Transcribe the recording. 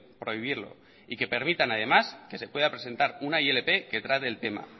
prohibirlo y que permitan además que se pueda presentar una ilp que trate el tema